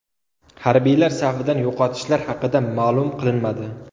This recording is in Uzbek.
Harbiylar safidan yo‘qotishlar haqida ma’lum qilinmadi.